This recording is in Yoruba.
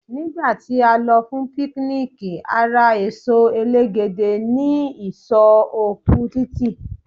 ní gba ti a lọ fún picnic a ra eso elegede ni isọ oku titi